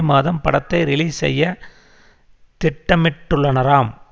மாதம் படத்தை ரிலீஸ் செய்ய திட்டமிட்டுள்ளனராம்